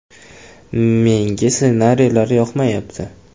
“Menga ssenariylar yoqmayapti.